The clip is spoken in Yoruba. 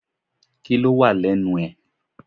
Kíló wà lẹ́nu ẹ?